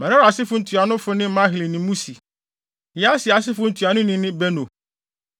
Merari asefo ntuanofo ne Mahli ne Musi. Yasia asefo ntuanoni ne Beno.